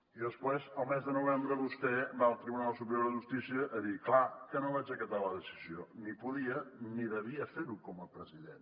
i després al mes de novembre vostè va al tribunal superior de justícia a dir clar que no vaig acatar la decisió ni podia ni havia de fer ho com a president